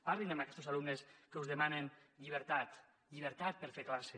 parlin amb aquestos alumnes que us demanen llibertat llibertat per a fer classe